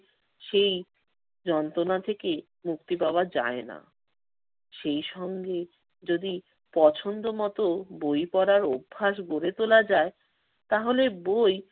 সেই যন্ত্রণা থেকে মুক্তি পাওয়া যায় না। সেই সঙ্গে যদি পছন্দমতো বই পড়ার অভ্যাস গড়ে তোলা যায় তাহলে বই